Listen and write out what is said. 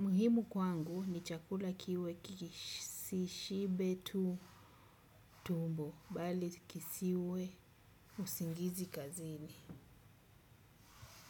Muhimu kwangu ni chakula kiwe kisiwe usingizi kazini.